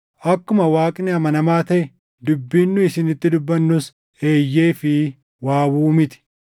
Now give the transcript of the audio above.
Akkuma Waaqni amanamaa taʼe dubbiin nu isinitti dubbannus “Eeyyee” fi “Waawuu” miti.